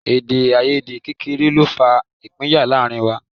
Èdèàìyedè kékeré ló fa ìpínyà láàrin wa